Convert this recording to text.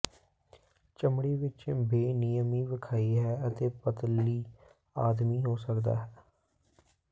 ਚਮੜੀ ਵਿਚ ਬੇਨਿਯਮੀ ਵਿਖਾਈ ਹੈ ਅਤੇ ਪਤਲੀ ਆਦਮੀ ਹੋ ਸਕਦਾ ਹੈ